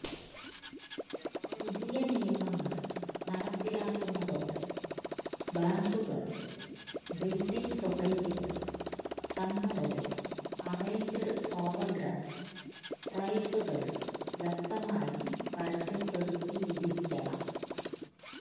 പുതിയ നിയമങ്ങള് നടപ്പിലാക്കുന്നതോടെ ബാങ്കുകളും ബില്ഡിംഗ് സൊസൈറ്റികളും തങ്ങളുടെ അറേഞ്ച്ഡ് ഓവര്ഡ്രാഫ്റ് പ്രൈസുകള് വ്യക്തമായി പരസ്യപ്പെടുത്തിയിരിക്കണം